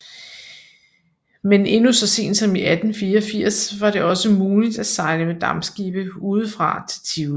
Men endnu så sent som i 1884 var det også muligt at sejle med dampskibe udefra til Tivoli